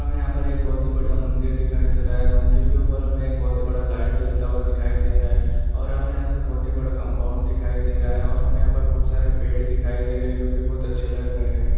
हमें यहाँ पर एक बहोत ही बढ़ियां मंदिर दिखाई दे रहा है। मंदिर के ऊपर हमें एक बहुत ही बड़ा लाइट जलता हुआ दिखाई दे रहा है। और हमें यहाँ पर बहुत ही बड़ा कम्पाउण्ड दिखाई दे रहा है। और हमे यहाँ पर बहुत सारे पेड़ दिखाई दे रहे हैं जो की बहुत अच्छे लग रहे हैं ।